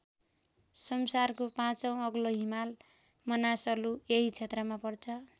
संसारको पाँचौँ अग्लो हिमाल मनासलु यही क्षेत्रमा पर्छ।